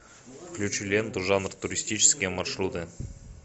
включи ленту жанр туристические маршруты